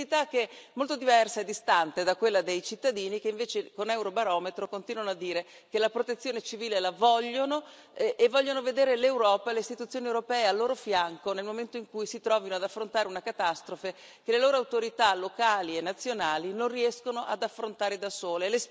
Sensibilità che è molto diversa e distante da quella dei cittadini, che invece con Eurobarometro continuano a dire che la protezione civile la vogliono e vogliono vedere l'Europa e le Istituzioni europee al loro fianco nel momento in cui si trovino ad affrontare una catastrofe che le loro autorità locali e nazionali non riescono ad affrontare da sole.